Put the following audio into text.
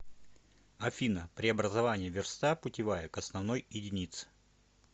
афина преобразование верста путевая к основной единице